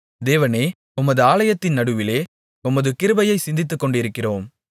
தேவனே உமது ஆலயத்தின் நடுவிலே உமது கிருபையைச் சிந்தித்துக் கொண்டிருக்கிறோம்